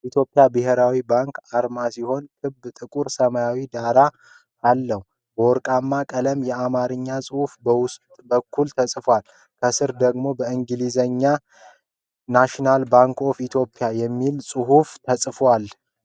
የኢትዮጵያ ብሔራዊ ባንክ አርማ ሲሆን ክብ ጥቁር ሰማያዊ ዳራ አለው። በወርቃማ ቀለም የአማርኛ ጽሑፍ በውስጥ በኩል ተጽፏል። ከስር ደግሞ በእንግሊዝኛ "NATIONAL BANK OF ETHIOPIA" የሚል ጽሑፍ ተጽፏል።